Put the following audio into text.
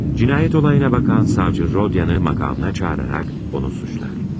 Cinayət olayına baxan savcı Rodiyanı makamına çağıraraq onu suçlar.